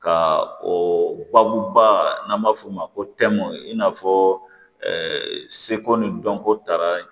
Ka o babu ba n'an b'a f'o ma ko i n'a fɔ ɛɛ seko ni dɔnko taara